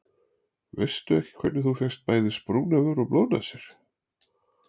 Veistu ekki hvernig þú fékkst bæði sprungna vör og blóðnasir.